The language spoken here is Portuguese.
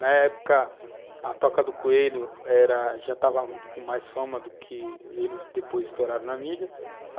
Na época, a Toca do Coelho era já estava com mais fama do que eles depois estouraram na mídia.